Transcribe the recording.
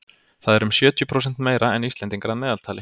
það er um sjötíu prósent meira en íslendingar að meðaltali